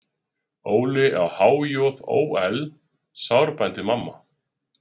Óli á há-joð-ó-ell, sárbændi mamma.